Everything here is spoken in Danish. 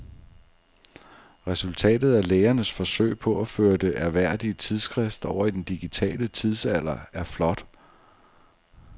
Resultatet af lægernes forsøg på at føre det ærværdige tidsskrift over i den digitale tidsalder er flot.